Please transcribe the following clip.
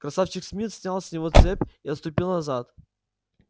красавчик смит снял с него цепь и отступил назад